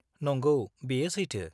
नंगौ, बेयो सैथो।